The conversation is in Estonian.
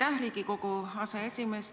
Aitäh, Riigikogu aseesimees!